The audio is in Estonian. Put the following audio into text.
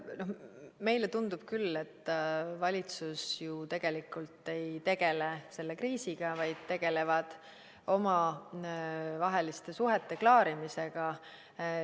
Meile tundub küll, et valitsus ju tegelikult ei tegele selle kriisiga, vaid tegeleb omavaheliste suhete klaarimisega.